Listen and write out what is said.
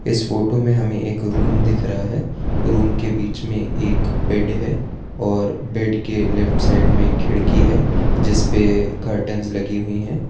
इस फोटो में हमें एक रूम दिख रहा है रूम के बीच में एक बेड है और बेड के लेफ्ट साइड में खिड़की है जिसपे कर्टन्स लगी हुई हैं।